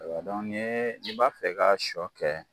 Ayiwa ni i b'a fɛ ka sɔ kɛ